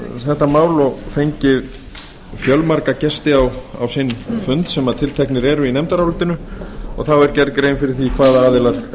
þetta mál og fengið fjölmarga gesti á sinn fund sem tilteknir eru í nefndarálitinu og það var gerð grein fyrir því hvaða aðilar